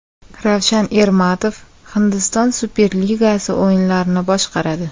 Ravshan Ermatov Hindiston Superligasi o‘yinlarini boshqaradi.